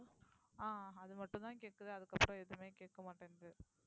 ஆஹ் அது மட்டும்தான் கேக்குது அதுக்கப்புறம் எதுவுமே கேக்க மாட்டேங்குது